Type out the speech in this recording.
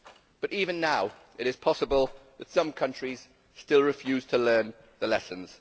But even now it is possible that some countries still refuse to learn the lessons.